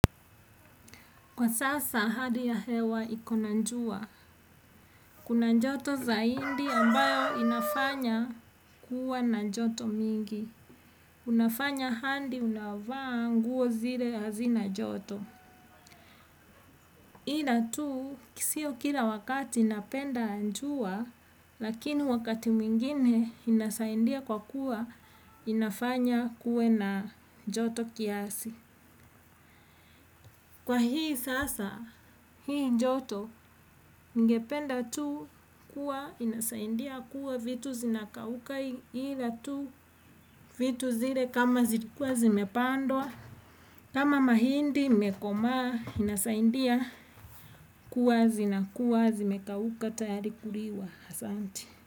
Kwa sasa, hali ya hewa iko na njua. Kuna njoto zaindi ambayo inafanya kuwa na njoto mingi. Unafanya handi unavaa nguo zile hazina joto. Ila tu, kisio kila wakati napenda njua, lakini wakati mwingine inasaindia kwa kuwa inafanya kuwe na njoto kiasi. Kwa hii sasa, hii njoto, ningependa tu kuwa inasaindia kuwa vitu zinakauka hila tu, vitu zile kama zirikuwa zimepandwa, kama mahindi imekomaa inasaindia kuwa zinakuwa zimekauka tayari kuriwa asanti.